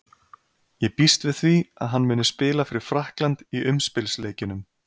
Ég býst við því að hann muni spila fyrir Frakkland í umspilsleikjunum.